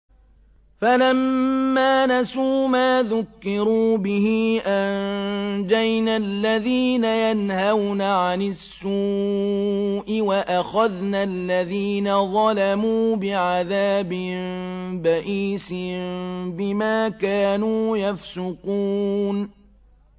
فَلَمَّا نَسُوا مَا ذُكِّرُوا بِهِ أَنجَيْنَا الَّذِينَ يَنْهَوْنَ عَنِ السُّوءِ وَأَخَذْنَا الَّذِينَ ظَلَمُوا بِعَذَابٍ بَئِيسٍ بِمَا كَانُوا يَفْسُقُونَ